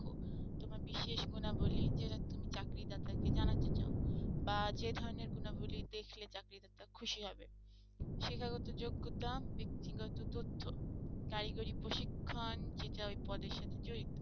তোমার বিশেষ গুণাবলী যেটা তুমি চাকরিদাতাকে জানাতে চাও বা যেখানের গুণাবলী দেখলে চাকরিদাতা খুশি হবে শিক্ষাগত যোগ্যতা ব্যক্তিগত তথ্য কারিগরি প্রশিক্ষণ যেটা ঐ পদের সাথে জড়িত।